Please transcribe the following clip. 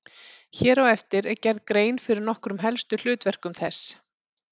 Hér á eftir er gerð grein fyrir nokkrum helstu hlutverkum þess.